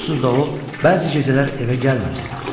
Onsuz da o bəzi gecələr evə gəlmirdi.